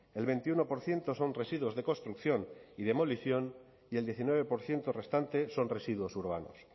el veintiuno por ciento son residuos de construcción y demolición y el diecinueve por ciento restante son residuos urbanos